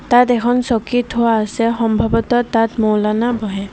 তাত এখন চকী থোৱা আছে সম্ভৱতঃ তাত মৌলানা বহে।